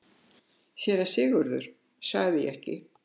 SÉRA SIGURÐUR: Sagði ég ekki!